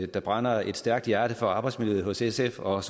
der brænder et stærkt hjerte for arbejdsmiljøet hos sf og